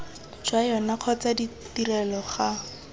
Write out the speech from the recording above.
jwa yona kgotsa ditrelo ga